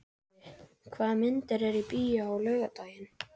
Ævi, hvaða myndir eru í bíó á laugardaginn?